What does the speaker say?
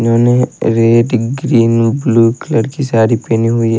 इन्होंने red green blue colour की साड़ी पहनी हुई है।